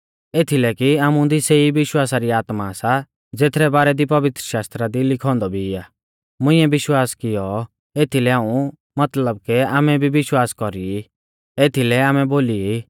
एथीलै कि आमुदी सेई विश्वासा री आत्मा सा ज़ेथरै बारै दी पवित्रशास्त्रा दी लिखौ औन्दौ भी आ मुंइऐ विश्वास कियौ एथीलै हाऊं मतलब के आमै भी विश्वास कौरी ई एथीलै आमै बोली ई